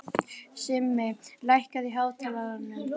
Simmi, lækkaðu í hátalaranum.